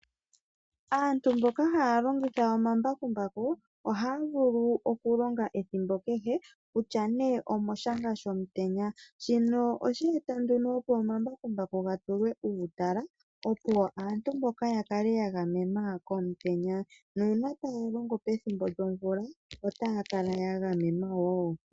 Aantu mboka haya longitha omambakumbaku ohaya vulu oku longa ethimbo kehe kutya nee omoshanga shomutenya, shino osha eta nduno opo omambakumbaku ga tulwe uutala, opo aantu mboka ya kale ya gamenwa komutenya, nuuna taya longo pethimbo lyomvula otaya kala ya gamenwa wo.